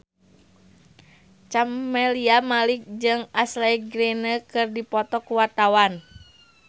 Camelia Malik jeung Ashley Greene keur dipoto ku wartawan